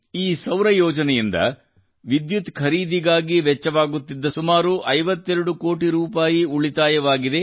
ಈ ಸೌರ ಯೋಜನೆಯಿಂದ ವಿದ್ಯುತ್ ಖರೀದಿಗಾಗಿ ವೆಚ್ಚವಾಗುತ್ತಿದ್ದ ಸುಮಾರು 52 ಕೋಟಿ ರೂಪಾಯಿ ಉಳಿತಾಯವಾಗಿದೆ